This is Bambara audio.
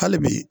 Hali bi